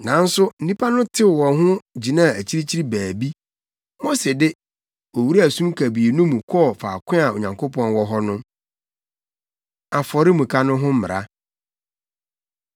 Nanso, nnipa no tew wɔn ho gyinaa akyirikyiri baabi. Mose de, owuraa sum kabii no mu kɔɔ faako a Onyankopɔn wɔ hɔ no. Afɔremuka No Ho Mmara